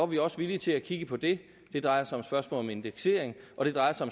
vi også villige til at kigge på det det drejer sig om spørgsmål om indeksering og det drejer sig